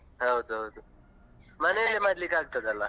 ಹೌದೌದು ಮನೆಲ್ಲೇ ಮಾಡ್ಲಿಕ್ಕೆ ಆಗ್ತದಲ್ಲ.